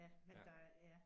Ja. Det dejligt ja